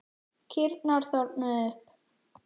Kýrnar þornuðu upp.